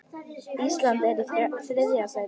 Ísland er í þriðja sæti.